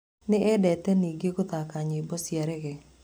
Nĩ endete nyingĩ gũthaka nyĩmbo cia reggae.